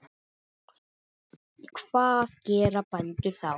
Hvað gera bændur þá?